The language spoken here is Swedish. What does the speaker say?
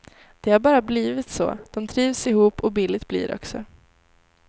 Det har bara blivit så, de trivs ihop och billigt blir det också.